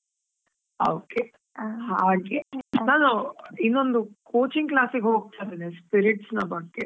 ಹಾ okay , ನಾನು, ಇನ್ನೊಂದು coaching class ಗೆ ಹೋಗ್ತಾ ಇದ್ದೇನೆ, spirits ನ ಬಗ್ಗೆ.